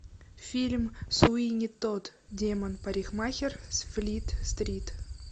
фильм суини тодд демон парикмахер с флит стрит